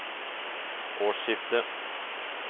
årsskiftet